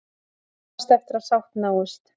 Vonast eftir að sátt náist